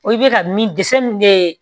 O bɛ ka min dɛsɛ min bɛ